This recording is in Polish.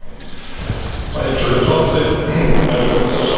Panie Przewodniczący, Pani Komisarz, Szanowni Państwo!